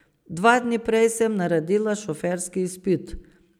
Dva dni prej sem naredila šoferski izpit.